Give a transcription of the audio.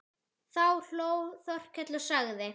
Þá hló Þórkell og sagði